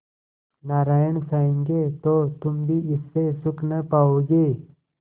नारायण चाहेंगे तो तुम भी इससे सुख न पाओगे